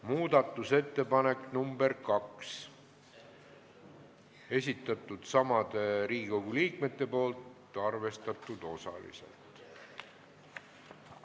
Muudatusettepanek nr 2, esitanud samad Riigikogu liikmed, arvestatud osaliselt.